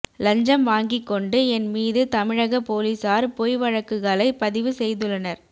லஞ்சம் வாங்கி கொண்டு என் மீது தமிழக போலீசார் பொய் வழக்குகளை பதிவு செய்துள்ளனர்